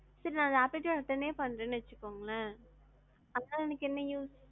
sir நான் aptitude attend யே பன்றேன்னு வச்சுக்கோங்களே, அதுனால எனக்கு என்ன use?